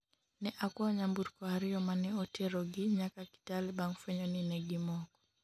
ne akwayo nyamburko ariyo mane otero gi nyaka Kitale bang' fwenyo ni ne gimoko